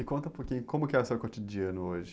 E conta um pouquinho, como que é o seu cotidiano hoje?